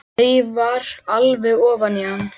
Þreifar alveg ofan í hann.